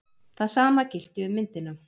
Það sama gilti um myndina.